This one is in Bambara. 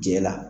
Cɛ la